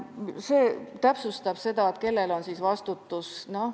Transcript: See täpsustab seda, kellel lasub vastutus.